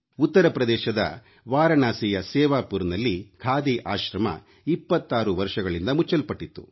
ಉತ್ತರ ಪ್ರದೇಶದ ವಾರಣಾಸಿಯ ಸೇವಾಪುರ್ನಲ್ಲಿ ಖಾದಿ ಆಶ್ರಮ 26 ವರ್ಷಗಳಿಂದ ಮುಚ್ಚಲ್ಪಟ್ಟಿತ್ತು